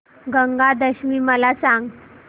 गंगा दशमी मला सांग